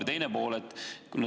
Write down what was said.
Ja teine pool.